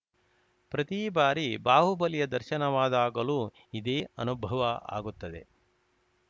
ಪ್ರತಿ ಬಾರಿ ಬಾಹುಬಲಿಯ ದರ್ಶನವಾದಾಗಲೂ ಇದೇ ಅನುಭವ ಆಗುತ್ತದೆ